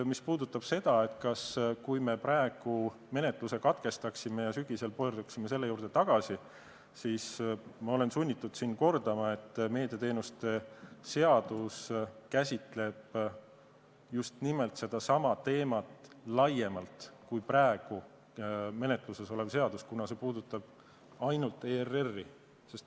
Mis puudutab seda, et me praegu menetluse katkestaksime ja sügisel pöörduksime selle eelnõu juurde tagasi, siis olen sunnitud kordama, et meediateenuste seadus käsitleb just nimelt sedasama teemat laiemalt kui praegu menetluses olev eelnõu, mis puudutab ainult ERR-i.